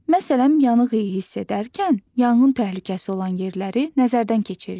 Məsələn, yanıq iyi hiss edərkən yanğın təhlükəsi olan yerləri nəzərdən keçiririk.